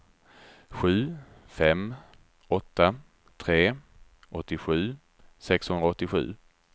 sju fem åtta tre åttiosju sexhundraåttiosju